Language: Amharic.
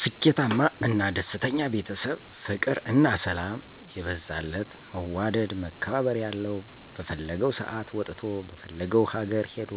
ስኬታማ እና ደስተኛ ቤተሰብ ፍቅር እና ሰላም የበዛለት መዋደድ መከባበር ያለዉ በፈለገዉ ሰአት ወጥቶ በፈለገዉ ሀገር ሄዶ